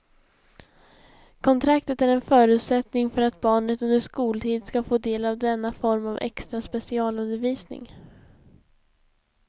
Kontraktet är en förutsättning för att barnet under skoltid ska få del av denna form av extra specialundervisning.